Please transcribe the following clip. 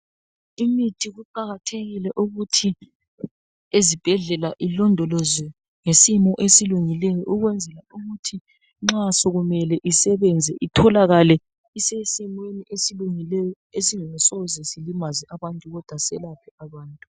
Imithi kuqakathekile ukuthi ezibhedlela ilondolozwe ngesimo esilungileyo Ukwenzela ukuthi nxa sokumele isebenze itholakala isesimweni esilungileyo. Esingasoze silimaze abantu kodwa selaphe abantu.